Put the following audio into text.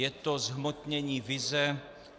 Je to zhmotnění vize.